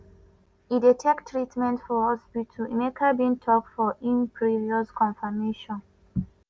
e dey take treatment for hospital" emeka bin tok for im previous confirmation.